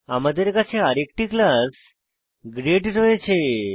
আমাদের কাছে আরেকটি ক্লাস গ্রেড রয়েছে